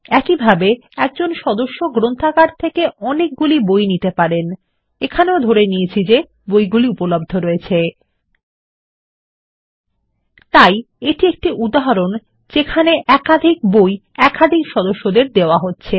একইভাবে একজন সদস্য অনেকগুলি বই ধার করতে পারেন এখানেও ধরে নিচ্ছি বইগুলি উপলব্ধ রয়েছে তাই এটি একটি উদাহরণ যেখানে একাধিক বই একাধিক সদস্যদের দেওয়া হচ্ছে